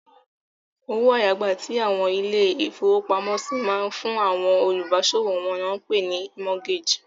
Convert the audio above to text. Owó àyágbà tí àwọn ilé-ìfowópamọ́sí máa ń fún àwọn olùbáṣòwò wọn ni wọ́n pè ní mọ́gágè.